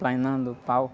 Plainando pau.